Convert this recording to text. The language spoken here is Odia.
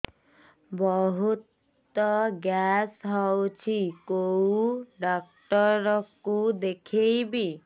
ବହୁତ ଗ୍ୟାସ ହଉଛି କୋଉ ଡକ୍ଟର କୁ ଦେଖେଇବି